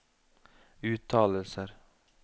uttalelser